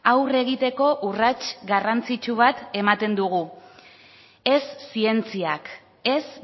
aurre egiteko urrats garrantzitsu bat ematen dugu ez zientziak ez